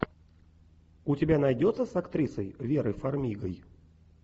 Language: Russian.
у тебя найдется с актрисой верой фармигой